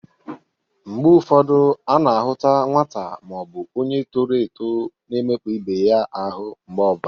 Mgbe ụfọdụ a na-ahụta nwata ma ọ bụ onye toro eto na-emekpa ibe ya ahụ mgbe ọ bụla.